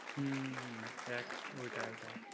হম হম ওইটাই ওইটাই